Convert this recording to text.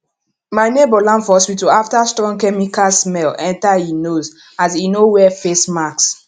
my neighbour land for hospital after strong chemical smell enter e nose as e no wear face mask